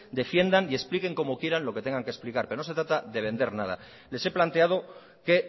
defiendan y expliquen como quieran lo que tengan que explicar pero no se trata de vender nada les he planteado que